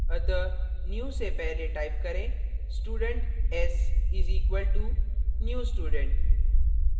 अतः new से पहले type करें student s is equal to new student